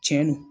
Tiɲɛ don